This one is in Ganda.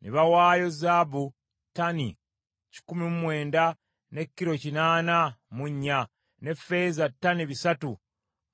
Ne bawaayo zaabu ttani kikumi mu kyenda ne kilo kinaana mu nnya, ne ffeeza ttani bisatu